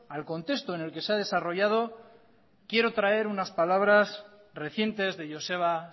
al contexto en el que se ha desarrollado quiero traer unas palabras recientes de joseba